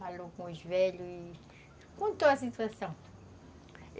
Falou com os velhos e contou a situação.